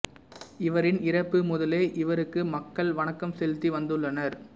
இவரின் இறப்பு முதலே இவருக்கு மக்கள் வணக்கம் செலுத்தி வந்துள்ளனர்